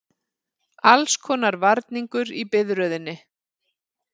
Allskonar varningur í biðröðinni.